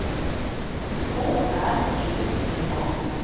K R E T A